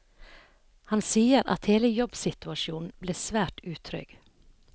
Han sier at hele jobbsituasjonen ble svært utrygg.